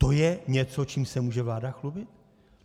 To je něco, čím se může vláda chlubit?